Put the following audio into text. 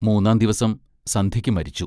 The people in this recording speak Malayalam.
മൂന്നാം ദിവസം സന്ധ്യയ്ക്ക് മരിച്ചു.